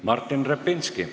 Martin Repinski.